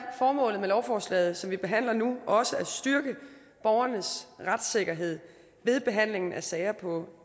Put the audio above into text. formålet med lovforslaget som vi behandler nu også at styrke borgernes retssikkerhed ved behandlingen af sager på